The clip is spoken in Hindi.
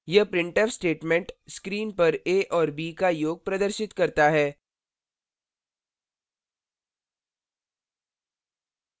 यह printf statement screen पर a और b का योग प्रदर्शित करता है